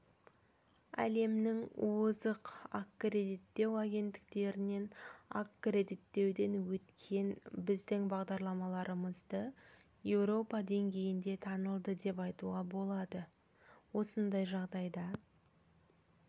әлемнің озық аккредиттеу агенттіктерінен аккредиттеуден өткен біздің бағдарламаларымызды еуропа деңгейінде танылды деп айтуға болады осындай жағдайда